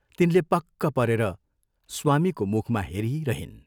तिनले पक्क परेर स्वामीको मुखमा हेरिरहिन्।